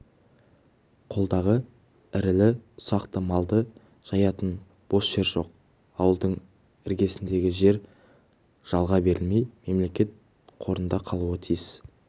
қолдағы ірілі-ұсақты малды жаятын бос жер жоқ ауылдың іргесіндегі жер жалға берілмей мемлекет қорында қалуы тиіс